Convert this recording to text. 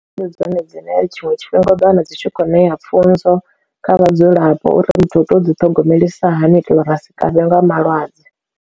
Ndi dzone dzine tshiṅwe tshifhinga u ḓo wana dzi tshi khou ṋea pfunzo kha vhadzulapo uri muthu u tea u ḓi ṱhogomelisa hani u itela uri asi kavhwe nga malwadze.